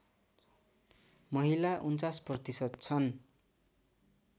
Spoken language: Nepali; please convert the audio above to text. महिला ४९ प्रतिशत छन्